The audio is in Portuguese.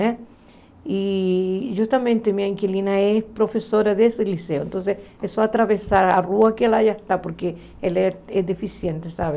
Né e justamente minha inquilina é professora desse liceu, então é só atravessar a rua que ela já está, porque ela é deficiente, sabe?